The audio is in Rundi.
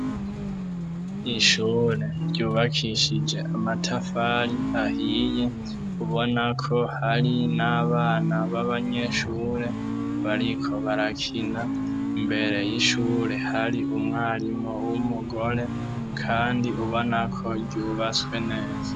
Ishure ryubakishije amatafari ahiye ubona ko hari n'abana b'abanyeshure bariko barakina imbere y'ishure hari umwarimu w'umugore kandi ubona ko ryubatswe neza.